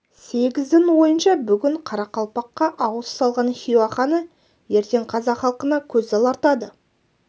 сегіздің ойынша бүгін қарақалпаққа ауыз салған хиуа ханы ертең қазақ халқына көз алартады